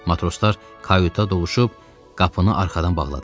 Matroslar kayuta doluşub qapını arxadan bağladılar.